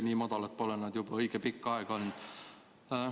Nii madalad pole nad juba õige pikka aega olnud.